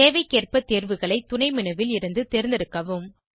தேவைக்கேற்ப தேர்வுகளை துணை menu ல் இருந்து தேர்ந்தெடுக்கவும்